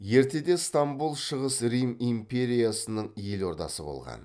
ертеде ыстамбұл шығыс рим империясының елордасы болған